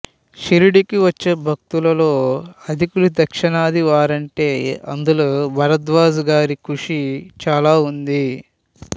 షిరిడీకి వచ్చే భక్తులలో అధికులు దక్షిణాది వారంటే అందులో భరద్వాజ గారి కృషి చాలా ఉంది